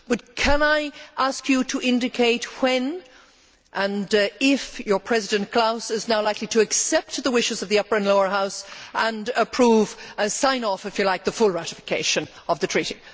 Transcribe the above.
But can I ask you to indicate when and if your President Klaus is likely to accept the wishes of the upper and lower Houses and approve or sign off, if you like the full ratification of the Treaty?